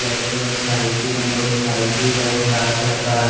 बेठे में साइकिल है मोटरसाइकिल है चार चक्का है।